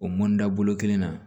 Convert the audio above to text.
O mɔnda bolo kelen na